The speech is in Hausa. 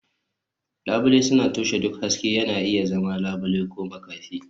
Labule suna toshe duk haske, yana iya zama labule ko makafi.